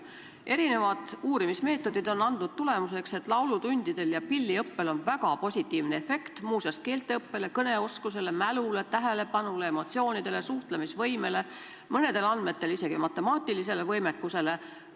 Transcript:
Erinevad uurimismeetodid on andnud tulemuseks, et laulutundidel ja pilliõppel on väga positiivne efekt, muu hulgas keelte õppimisele, kõneoskusele, mälule, tähelepanule, emotsioonidele, suhtlemisvõimele, mõnedel andmetel isegi matemaatilisele võimekusele.